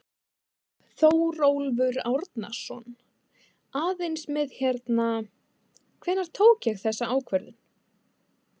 Þórólfur Árnason: Aðeins með hérna, hvenær ég tók þessa ákvörðun?